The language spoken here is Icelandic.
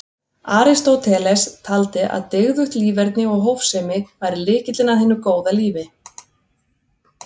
Aristóteles taldi að dygðugt líferni og hófsemi væri lykillinn að hinu góða lífi.